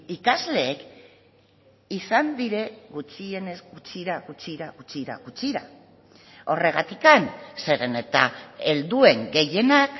ikasleek izan dira gutxienez gutxira gutxira gutxira gutxira horregatik zeren eta helduen gehienak